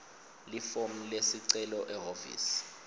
lifomu lesicelo ehhovisi